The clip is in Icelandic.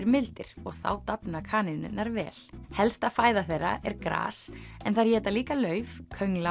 mildir og þá dafna kanínurnar vel helsta fæða þeirra er gras en þær éta líka lauf